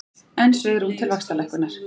Enn svigrúm til vaxtalækkunar